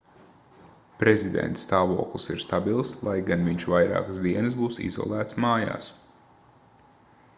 prezidenta stāvoklis ir stabils lai gan viņš vairākas dienas būs izolēts mājās